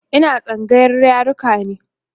Ina tsangayar yaruka ne